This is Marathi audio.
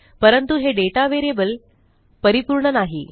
परंतु हे दाता व्हेरिएबल परिपूर्ण नाही